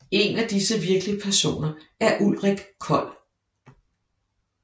En af disse virkelige personer er Ulrik Cold